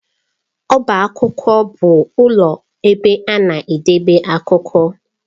Ọbá akwụkwọ bụ ụlọ ebe a na-edebe akwụkwọ.